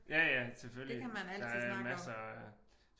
Ja ja selvfølgelig der er masser af